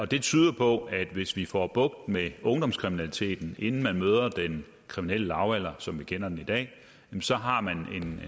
det tyder på at hvis vi får bugt med ungdomskriminaliteten inden man møder den kriminelle lavalder som vi kender den i dag så har man